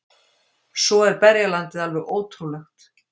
Svo er berjalandið alveg ótrúlegt